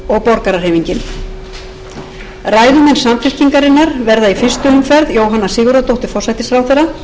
borgarahreyfingin ræðumenn samfylkingarinnar verða í fyrstu umferð jóhanna sigurðardóttir forsætisráðherra